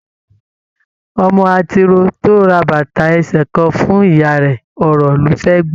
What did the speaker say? Ọmọ atiro to ra bàtà ẹsẹ kàn fún ìyá rẹ, ọ̀rọ̀ lo fẹ gbọ.